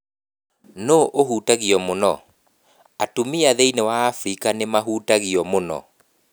Nũũ ũhutagio mũno ? Atumia thĩinĩ wa Afrika nĩo mahutagio mũno.